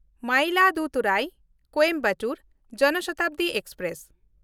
ᱢᱟᱭᱤᱞᱟᱫᱩᱛᱷᱩᱨᱟᱭ–ᱠᱳᱭᱮᱢᱵᱟᱴᱩᱨ ᱡᱚᱱ ᱥᱚᱛᱟᱵᱫᱤ ᱮᱠᱥᱯᱨᱮᱥ